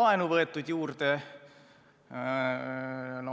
laenu juurde võetud.